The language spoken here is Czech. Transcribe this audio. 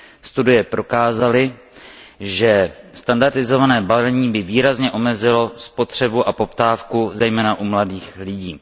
Studie prokázaly, že standardizované balení by výrazně omezilo spotřebu a poptávku zejména u mladých lidí.